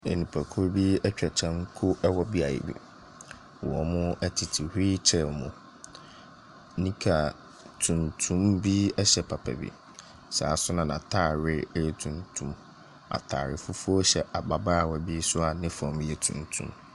Nnipakuo atwa kanko wɔ beaeɛ bi. Wɔtete wheel chair mu. Nika tuntum bi hyɛ papa bi. Saa ara nso na n'ataare yɛ tuntum. Ataare fufuo hyɛ ababaawa bi a ne fam yɛ tuntum.